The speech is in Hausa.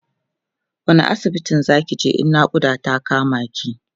wani asibitin Zaki je in naƙuda ta kama ki?